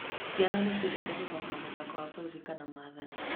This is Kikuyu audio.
Ciana nĩ ciendete gũthaka mũthako wa kũririkana metha-inĩ.